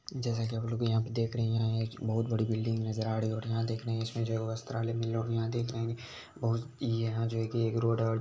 जैसे की हम लोग यहाँ पे देख रहे हैं यहाँ एक बहुत बड़ी बिलडिंग नजर आ री और यहाँ देख रहे हैं इसमे जो वस्त्रालय मिल रहे हैं और यहाँ देख रहे हैं कि बहोत यहाँ जो है कि एक रोड है। और--